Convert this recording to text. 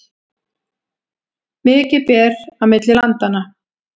Mikið ber á milli landanna